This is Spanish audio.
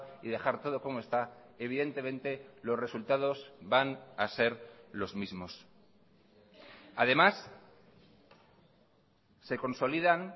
y dejar todo como está evidentemente los resultados van a ser los mismos además se consolidan